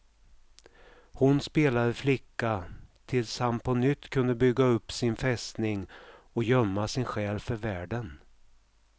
Hon spelade flicka, tills han på nytt kunde bygga upp sin fästning och gömma sin själ för världen.